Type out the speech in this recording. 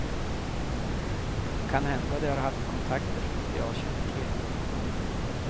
Kanhända de har haft kontakter som inte jag känner till.